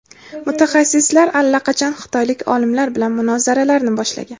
mutaxassislar allaqachon xitoylik olimlar bilan munozaralarni boshlagan.